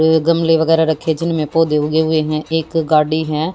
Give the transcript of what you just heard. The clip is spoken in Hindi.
गमले वगैरह रखे जिनमें पौधे उगे हुए हैं एक गाड़ी है।